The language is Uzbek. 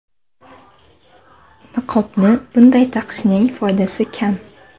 Niqobni bunday taqishning foydasi kam.